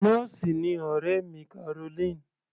Nọ́ọ̀sì ni ọ̀rẹ́ mi Caroline.